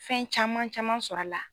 Fɛn caman caman sɔrɔ a la.